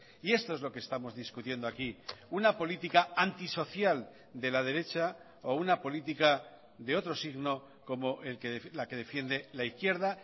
y esto es lo que estamos discutiendo aquí una política antisocial de la derecha o una política de otro signo como la que defiende la izquierda